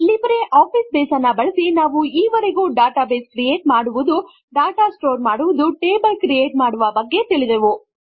Libre office Base ಅನ್ನು ಬಳಸಿ ನಾವು ಇವರೆಗೂ ಡಾಟಾ ಬೇಸ್ ಕ್ರಿಯೇಟ್ ಮಾಡುವುದು ಡಾಟಾ ಸ್ಟೋರ್ ಮಾಡುವ ಟೇಬಲ್ ಕ್ರಿಯೇಟ್ ಮಾಡುವ ಬಗ್ಗೆ ತಿಳಿದೆವು